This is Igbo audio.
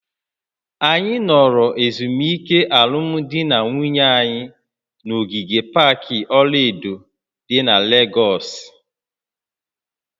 Anyị nọrọ ezumike alụmdi na nwunye anyị na ogige pak ọla edo dị na Legọsị